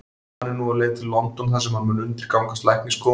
Hann er nú á leið til London þar sem hann mun undirgangast læknisskoðun.